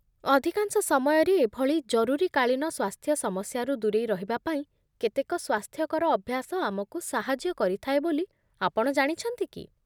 ଅଧିକାଂଶ ସମୟରେ ଏଭଳି ଜରୁରୀକାଳୀନ ସ୍ୱାସ୍ଥ୍ୟ ସମସ୍ୟାରୁ ଦୂରେଇ ରହିବାପାଇଁ କେତେକ ସ୍ୱାସ୍ଥ୍ୟକର ଅଭ୍ୟାସ ଆମକୁ ସାହାଯ୍ୟ କରିଥାଏ ବୋଲି ଆପଣ ଜାଣିଛନ୍ତି କି?